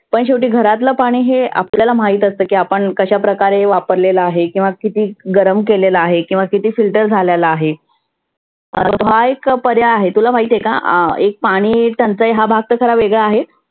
पण शेवटी घरातल पाणि हे आपल्याला माहित असतं की आपण कशा प्रकारे वापरलेलं आहे किंवा किती गरम केलेलं आहे. किवा किती filter झालेलं आहे. हा एक पर्याय आहे तुला माहित आहे का? एक पाणि एक टंचाई हा भाग तर खरा वेगळा आहे.